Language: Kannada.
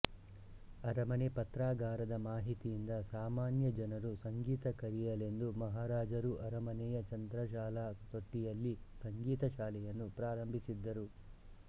ಅರಮನೆ ಪತ್ರಾಗಾರದ ಮಾಹಿತಿಯಿಂದ ಸಾಮಾನ್ಯ ಜನರು ಸಂಗೀತ ಕಲಿಯಲೆಂದು ಮಹಾರಾಜ ರು ಅರಮನೆಯ ಚಂದ್ರಶಾಲಾ ತೊಟ್ಟಿಯಲ್ಲಿ ಸಂಗೀತ ಶಾಲೆಯನ್ನು ಪ್ರಾರಂಭಿಸಿದ್ದರು